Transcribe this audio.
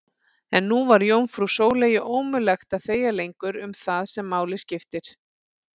En nú var jómfrú Sóleyju ómögulegt að þegja lengur um það sem máli skipti.